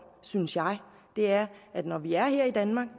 synes jeg er at når vi er her i danmark